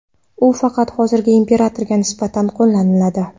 U faqat hozirgi imperatorga nisbatan qo‘llaniladi.